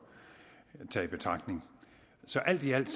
tage i betragtning så alt i alt